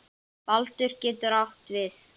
Baldur getur átt við